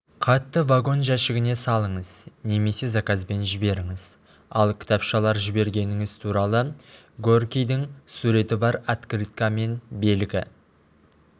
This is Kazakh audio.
хатты вагон жәшігіне салыңыз немесе заказбен жіберіңіз ал кітапшалар жібергеніңіз туралы горькийдін суреті бар открыткамен белгі